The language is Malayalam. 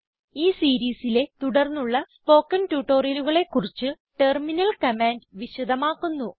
ഈ സീരീസിലെ തുടർന്നുള്ള സ്പോക്കൺ ട്യൂട്ടോറിയലുകളെ കുറിച്ച് ടെർമിനൽ കമാൻഡ് വിശധമാക്കുന്നു